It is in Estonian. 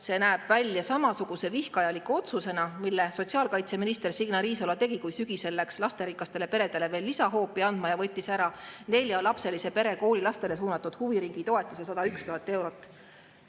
See näeb välja samasuguse vihkajaliku otsusena, mille sotsiaalkaitseminister Signe Riisalo tegi, kui läks sügisel lasterikastele peredele lisahoopi andma ja võttis ära neljalapselise pere koolilastele suunatud huviringitoetuse 101 000 eurot.